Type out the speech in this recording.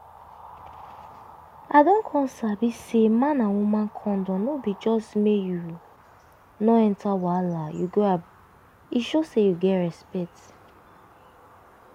i don come sabi say man and woman condom no be just make you no enter wahala you grab e show say you get respect